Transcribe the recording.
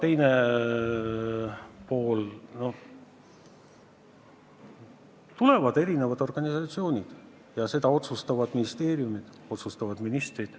Ning küsimuse teine pool erinevate organisatsioonide kohta: seda otsustavad ministeeriumid, otsustavad ministrid.